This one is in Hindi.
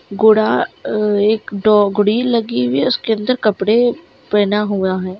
गुड़ा अ एक डोगड़ी लगी हुई है उसके अंदर कपड़े पहना हुआ है।